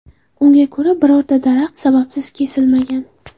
Unga ko‘ra, birorta daraxt sababsiz kesilmagan.